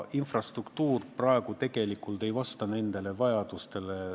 Infrastruktuur ei vasta praegu nendele vajadustele.